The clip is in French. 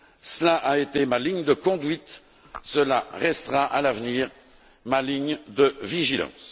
Cela a été ma ligne de conduite, cela restera, à l'avenir, ma ligne de vigilance.